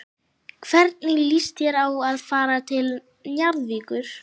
Hvernig líst þér á að fara til Njarðvíkur?